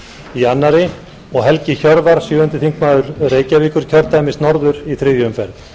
í annarri umferð og helgi hjörvar sjöundi þingmaður reykjavíkurkjördæmis norður í þriðju umferð